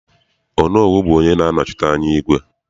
Onowu bụ onye na-anọchite anya igwe.